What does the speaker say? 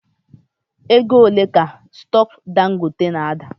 Ego ole ka stock Dangote na ada?